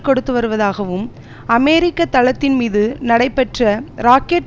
கொடுத்துவருவதாகவும் அமெரிக்க தளத்தின்மீது நடைபெற்ற ராக்கெட்